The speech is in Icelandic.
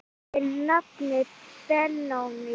Þinn nafni Benóný.